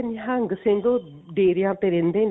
ਨਿਹੰਗ ਸਿੰਘ ਉਹ ਡੇਰਿਆਂ ਤੇ ਰਹਿੰਦੇ ਨੇ